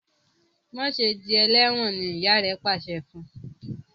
Ma ṣe dì eléwòn! ní ìyá rẹ pàṣẹ fún.